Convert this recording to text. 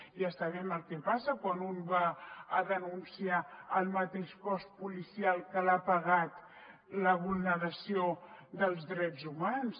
ja sabem què passa quan un va a denunciar al mateix cos policial que l’ha pegat la vulneració dels drets humans